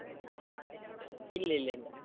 ഇല്ലില്ലയില്ല.